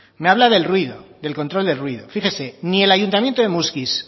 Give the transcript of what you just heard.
me habla del ruido del control de ruido fíjese ni el ayuntamiento de muskiz